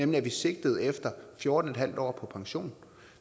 man sigtede efter fjorten en halv år på pension